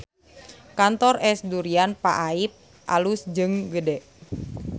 Kantor Es Durian Pak Aip alus jeung gede